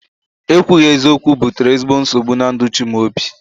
Ekwughi eziokwu butere ezigbo nsogbu na ndụ Chimaobi